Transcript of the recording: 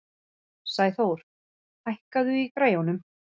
Sæþór, hækkaðu í græjunum.